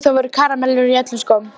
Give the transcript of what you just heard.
Jú, það voru karamellur í öllum skónum.